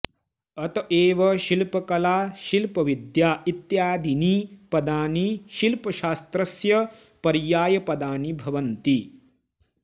अत एव शिल्पकला शिल्पविद्या इत्यादीनि पदानि शिल्पशास्त्रस्य पर्यायपदानि भवन्ति